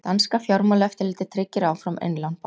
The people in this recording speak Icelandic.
Danska fjármálaeftirlitið tryggir áfram innlán bankans